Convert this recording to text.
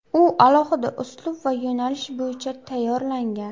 U alohida uslub va yo‘nalish bo‘yicha tayyorlangan.